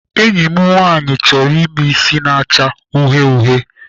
Enyi m nwaanyị chọrọ ime isi na-acha uhie uhie.